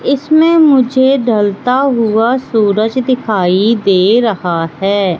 इसमें मुझे ढलता हुआ सूरज दिखाई दे रहा है।